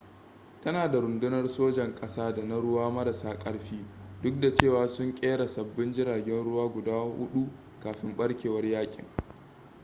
tana da rundunar sojan ƙasa da na ruwa marasa ƙarfi duk da cewa sun kera sabbin jiragen ruwa guda hudu kafin barkewar yakin